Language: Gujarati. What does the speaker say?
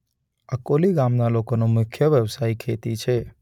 અકોલી ગામના લોકોનો મુખ્ય વ્યવસાય ખેતી છે.